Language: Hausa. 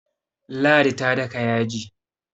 ladi ta daka yaji